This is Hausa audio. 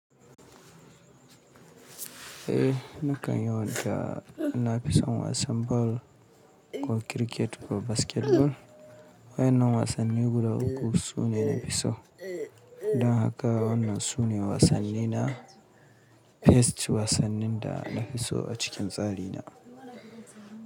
Eh nakan yawanta, na fi son wasan ball ko cricket ko basketball. Waɗannan wasanni guda uku sune nafi so. Don haka wannan sune wasannina. Best wasannin da na fi so a cikin tsari na.